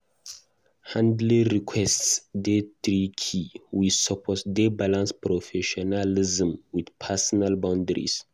Handling requests dey tricky; we suppose dey balance professionalism with personal boundaries.